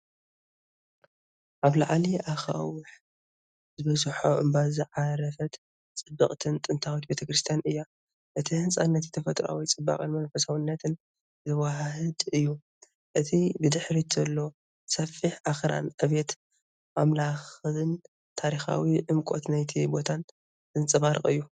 ኣብ ልዕሊ ኣኻውሕ ዝበዝሖ እምባ ዝዓረፈት ጽብቕትን ጥንታዊትን ቤተ ክርስቲያን እያ። እቲ ህንጻ ነቲ ተፈጥሮኣዊ ጽባቐን መንፈሳውነትን ዘወሃህድ እዩ። እቲ ብድሕሪት ዘሎ ሰፊሕ ኣኽራን ዕብየት ኣምላኽን ታሪኻዊ ዕምቆት ናይቲ ቦታን ዘንጸባርቕ እዩ።